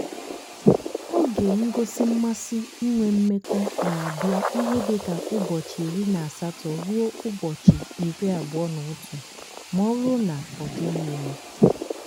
oge ngosi mmasị inwe mmekọ na- abia ihe dịka ụbọchị iri na asatọ ruo ụbọchị iri abụọ na otu ma ọ bụrụ na ọ dịghị ime.